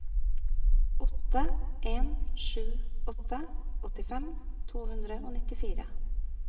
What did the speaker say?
åtte en sju åtte åttifem to hundre og nittifire